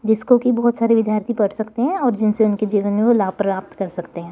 जिसको की बहोत सारे विद्यार्थी पढ़ सकते हैं और जिनसे उनके जीवन में वो लाभ प्राप्त कर सकते हैं।